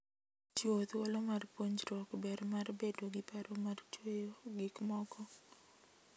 Chiwo thuolo mar puonjruok ber mar bedo gi paro mar chweyo gik moko.